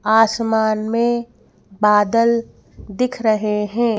आसमान में बादल दिख रहे हैं।